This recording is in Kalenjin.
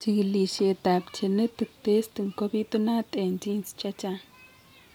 Chigilisiet ab genetic testing ko bitunat en genes chechang